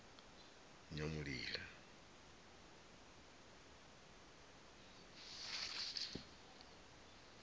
nyamulila